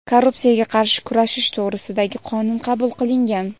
"Korrupsiyaga qarshi kurashish to‘g‘risida"gi Qonun qabul qilingan.